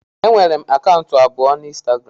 Enwere m akaụntụ abụọ na ịnstagram